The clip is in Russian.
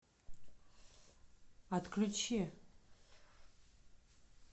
отключи